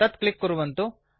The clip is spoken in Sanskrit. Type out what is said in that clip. तत् क्लिक् कुर्वन्तु